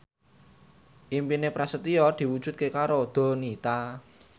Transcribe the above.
impine Prasetyo diwujudke karo Donita